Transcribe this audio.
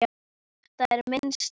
Þetta er minn staður.